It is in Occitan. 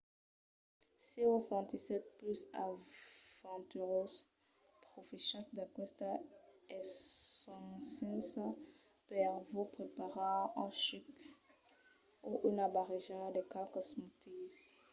se vos sentissètz pus aventurós profechatz d'aquesta escasença per vos preparar un chuc o una barreja de qualques smoothies